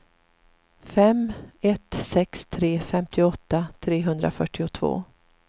fem ett sex tre femtioåtta trehundrafyrtiotvå